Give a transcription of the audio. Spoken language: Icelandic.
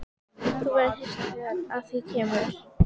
Þú verður hissa þegar að því kemur.